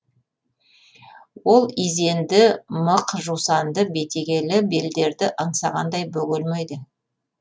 ол изенді мық жусанды бетегелі белдерді аңсағандай бөгелмейді